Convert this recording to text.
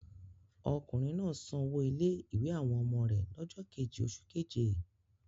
Ọkùnrin náà sanwó ilé-ìwé àwọn ọmọ rẹ̀ lọ́jọ́ kejì oṣù keje?